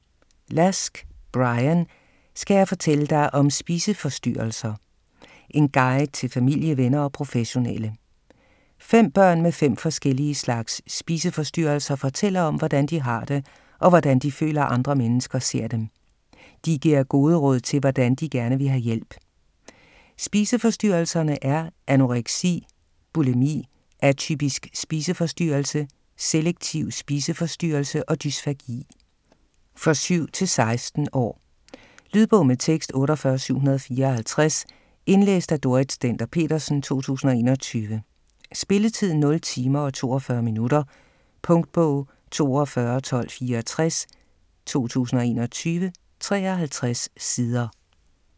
Lask, Bryan: Skal jeg fortælle dig om spiseforstyrrelser?: en guide til familie, venner og professionelle 5 børn med 5 forskellige slags spiseforstyrrelser fortæller om hvordan de har det, og hvordan de føler andre mennesker ser dem. De giver gode råd til, hvordan de gerne vil have hjælp. Spiseforstyrrelserne er: Anoreksi, bulimi, atypisk spiseforstyrrelse, selektiv spiseforstyrrelse og dysfagi. For 7-16 år. Lydbog med tekst 48754 Indlæst af Dorrit Stender-Petersen, 2021. Spilletid: 0 timer, 42 minutter. Punktbog 421264 2021. 53 sider.